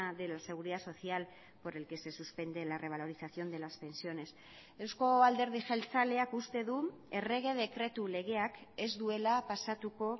de la seguridad social por el que se suspende la revalorización de las pensiones eusko alderdi jeltzaleak uste du errege dekretu legeak ez duela pasatuko